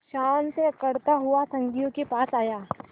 शान से अकड़ता हुआ संगियों के पास आया